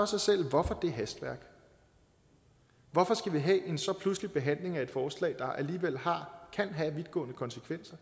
sig selv hvorfor det hastværk hvorfor skal vi have en så pludselig behandling af et forslag der alligevel kan have vidtgående konsekvenser